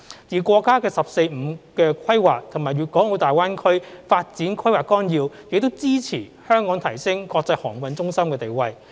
而國家"十四五"規劃和《粵港澳大灣區發展規劃綱要》亦支持香港提升國際航運中心地位。